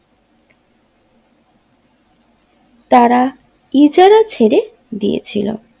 তারা ইজারা ছেড়ে গিয়েছিলো।